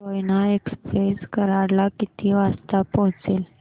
Koyna express Karad ला किती वाजता पोहचेल